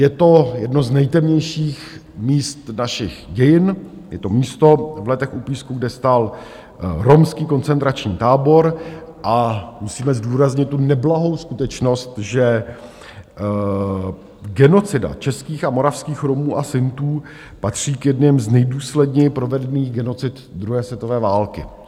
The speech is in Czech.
Je to jedno z nejtemnějších míst našich dějin, je to místo v Letech u Písku, kde stál romský koncentrační tábor, a musíme zdůraznit tu neblahou skutečnost, že genocida českých a moravských Romů a Sintů patří k jedněm z nejdůsledněji provedených genocid druhé světové války.